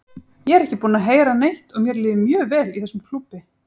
Ég er ekki búinn að heyra neitt og mér líður mjög vel í þessum klúbbi.